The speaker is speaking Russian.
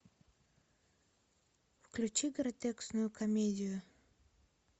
включи гротескную комедию